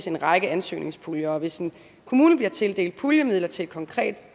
en række ansøgningspuljer hvis en kommune bliver tildelt puljemidler til et konkret